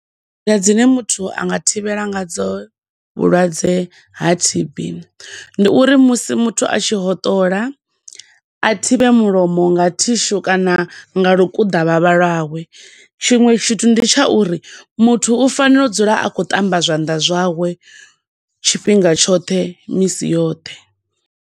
Nḓila dzine muthu anga thivhela nga dzo vhulwadze ha T_B ndi uri musi muthu a tshi hoṱola, a thivhe mulomo nga tissue kana nga lukuḓavhavha lwawe, tshiṅwe tshithu ndi tsha uri muthu u fanela u dzula a tshi khou ṱamba zwanḓa zwawe tshifhinga tshoṱhe, misi yoṱhe.